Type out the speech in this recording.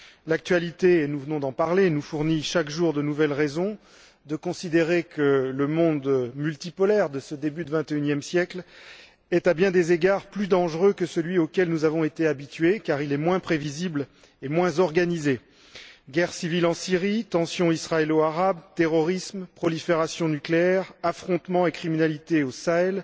L'actualité nous venons d'en parler nous fournit chaque jour de nouvelles raisons de considérer que le monde multipolaire de ce début de vingt et unième siècle est, à bien des égards, plus dangereux que celui auquel nous avons été habitués, car il est moins prévisible et moins organisé guerre civile en Syrie, tensions israélo arabes, terrorisme, prolifération nucléaire, affrontements et criminalité au Sahel,